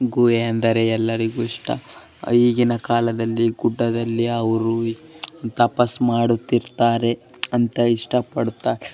ಗುಹೆ ಅಂದರೆ ಎಲ್ಲರಿಗೂ ಇಷ್ಟ ಈಗಿನ ಕಾಲದಲ್ಲಿ ಗುಡ್ಡದಲ್ಲಿ ಅವರು ತಪಸ್ಸು ಮಾಡುತ್ತಿರ್ತಾರೆ ಅಂತ ಇಷ್ಟ ಪಡ್ತ್ --